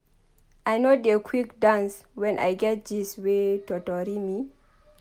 I no dey quick dance wen I get gist wey totori me.